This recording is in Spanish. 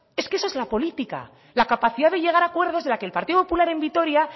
es que esa es la política la capacidad de llegar a acuerdos de la que el partido popular en vitoria